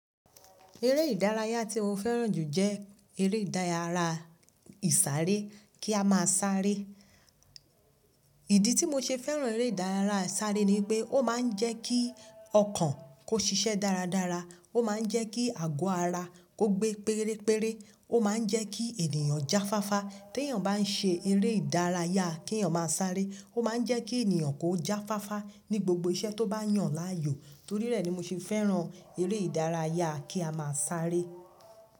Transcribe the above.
Eré ìdárayá tí mo fẹ́ràn jù jẹ́ eré ìdárayá ìsáré kí a máa sáré. Ìdí tí mo ṣe fẹ́ràn eré ìdárayá ìsáré ni pé ó máa ń jẹ́ kí ọkàn kó ṣiṣẹ́ dáradára, ó máa ń jẹ́ kí àgọ́ ara kó gbé péréré, ó máa ń jẹ́ kí ènìyàn jáfáfá. Tí ènìyàn bá ń ṣe eré ìdárayá kí ènìyàn máa sáré, ó máa ń jẹ́ kí ènìyàn kó jáfáfá ní gbogbo iṣẹ́ tó bá yàn láàyò. Torí rẹ̀ ni mo ṣe fẹ́ràn eré ìdárayá kí a máa sáré.